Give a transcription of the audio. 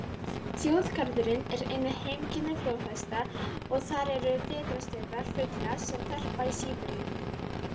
Þjóðgarðurinn er einnig heimkynni flóðhesta og þar eru vetrarstöðvar fugla sem verpa í Síberíu.